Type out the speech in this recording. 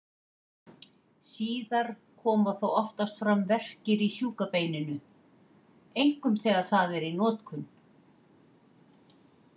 Síðar koma þó oftast fram verkir í sjúka beininu, einkum þegar það er í notkun.